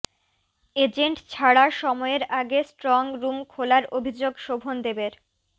agent ছাড়া সময়ের আগে স্ট্রং রুম খোলার অভিযোগ শোভনদেবের